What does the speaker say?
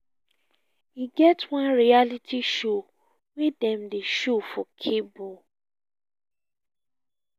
e get one reality show wey dem dey show for cable